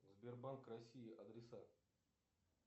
сбербанк россии адреса